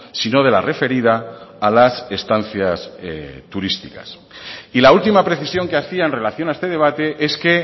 sino de la referida a las estancias turísticas y la última precisión que hacía en relación a este debate es que